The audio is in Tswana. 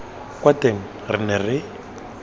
kwa teng re ne re